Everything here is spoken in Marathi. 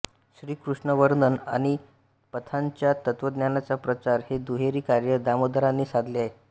श्रीकृष्णवर्णन आणि पंथाच्या तत्त्वज्ञानाचा प्रचार हे दुहेरी कार्य दामोदरांनी साधले आहे